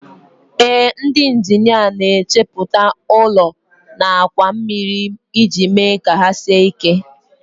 Ee, ndị injinia na-echepụta ụlọ na àkwà mmiri iji mee ka ha sie ike